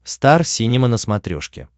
стар синема на смотрешке